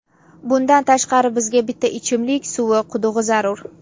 Bundan tashqari, bizga bitta ichimlik suvi qudug‘i zarur.